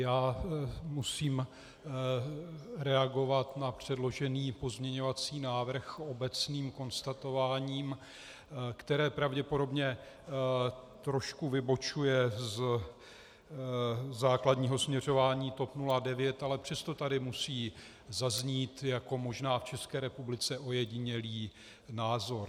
Já musím reagovat na předložený pozměňovací návrh obecným konstatováním, které pravděpodobně trošku vybočuje ze základního směřování TOP 09, ale přesto tady musí zaznít, jako možná v České republice ojedinělý názor.